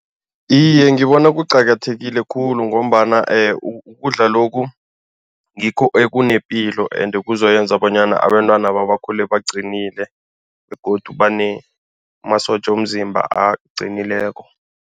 Iye, ngibona kuqakathekile khulu ngombana ukudla lokhu ngikho ekunepilo ende kuzoyenza bonyana abentwanaba bakhule baqinile begodu banemasotja womzimba aqinileko.